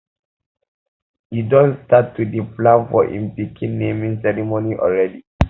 he don um start to dey plan for im pikin naming um ceremony already